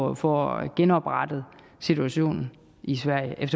at få genoprettet situationen i sverige det er